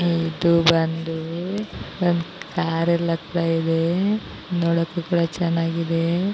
ಇದು ಬಂದು ಕಾರ್ ಎಲ್ಲ ಹೋಗ್ತಾ ಇದೆ ನೋಡಕ್ಕೂ ತುಂಬಾ ಚೆನ್ನಾಗಿದೆ.